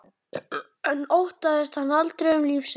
En óttaðist hann aldrei um líf sitt?